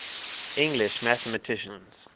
english mathematicians